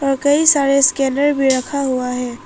कई सारे स्कैनर भी रखा हुआ है।